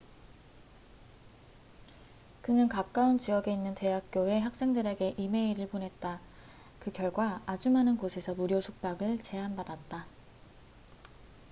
그는 가까운 지역에 있는 대학교의 학생들에게 이메일을 보냈다 그 결과 아주 많은 곳에서 무료 숙박을 제안받았다